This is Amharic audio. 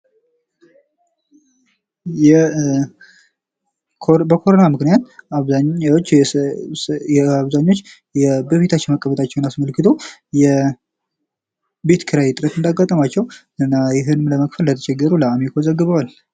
በኮሮና ምክንያት አብዛኛው ሰዎች በቤታቸው መቀመጣቸውን አስከትለው የቤት ኪራይ እጥረት እንዳጋጠማቸው ይህንንም መክፈል እንደተቸገሩ አአሚኮ ዘግቧል።